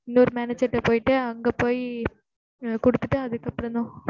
இன்னொரு manager ட்ட போயிட்டு அங்க போயி குடுத்துட்டு அதுக்கு அப்புறம் தான்